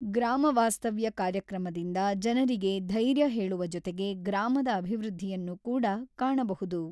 ಗ್ರಾಮ ವಾಸ್ತವ್ಯ ಕಾರ್ಯಕ್ರಮದಿಂದ ಜನರಿಗೆ ಧೈರ್ಯ ಹೇಳುವ ಜೊತೆಗೆ ಗ್ರಾಮದ ಅಭಿವೃದ್ಧಿಯನ್ನು ಕೂಡ ಕಾಣಬಹುದು.